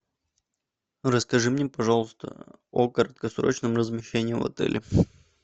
расскажи мне пожалуйста о краткосрочном размещении в отеле